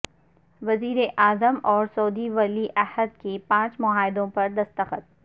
وزیراعظم اور سعودی ولیعہد کے پانچ معاہدوں پر دستخط